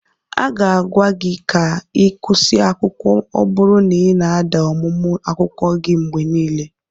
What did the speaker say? A ga-agwa gị ka ị kwụsị akwụkwọ ọ bụrụ na ị na-ada n'ọmụmụ akwụkwọ gị mgbe niile.